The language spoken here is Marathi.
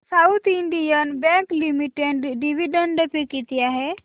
south Indian Bank Limited dividend pay किती आहे